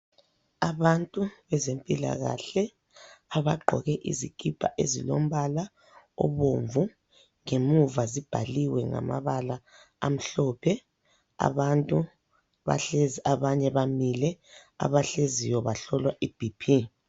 Abantu bezempilakahle abaqgoke izikipa ezilombala obomvu ngemuva zibhaliwe ngamabala amhlophe, abantu bahlezi abanye bamile abahleziyo bahlolwa ibhiphi.